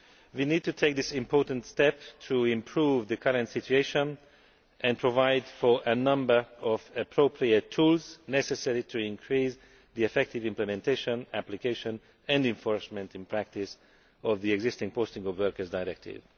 We need to take this important step to improve the current situation and provide for a number of appropriate tools necessary to increase the effective implementation, application and enforcement in practice of the existing Posting of Workers Directive.